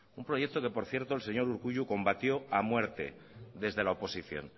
un proyecto que por cierto el señor urkullu combatió a muerte desde la oposición